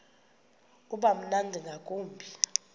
uba mnandi ngakumbi